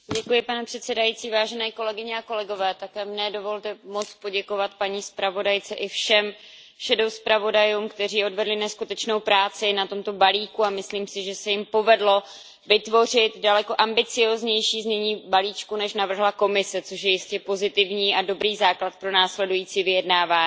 Pane předsedající, také mně dovolte poděkovat paní zpravodajce i všem stínovým zpravodajům, kteří odvedli neskutečnou práci na tomto balíku, a myslím si, že se jim povedlo vytvořit daleko ambicióznější znění balíčku, než navrhla Komise, což je jistě pozitivní a dobrý základ pro následující vyjednávání.